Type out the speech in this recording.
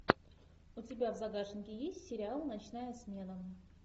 у тебя в загашнике есть сериал ночная смена